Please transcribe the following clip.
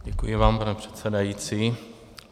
Děkuji vám, pane předsedající.